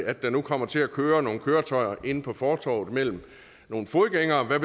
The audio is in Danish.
at der nu kommer til at køre nogle køretøjer inde på fortovet mellem nogle fodgængere og hvad